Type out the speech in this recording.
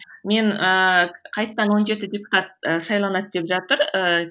мен ііі қайтадан он жеті депутат і сайланады деп жатыр ііі